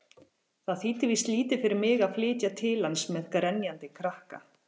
Það þýddi víst lítið fyrir mig að flytja til hans-með grenjandi krakka!